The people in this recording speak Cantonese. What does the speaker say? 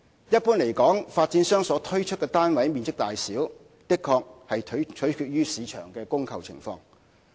一般而言，發展商所推出單位的面積大小，的確取決於市場的供求情況。